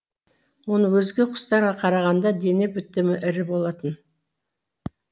оның өзге құстарға қарағанда дене бітімі ірі болатын